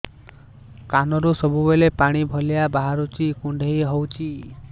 କାନରୁ ସବୁବେଳେ ପାଣି ଭଳିଆ ବାହାରୁଚି କୁଣ୍ଡେଇ ହଉଚି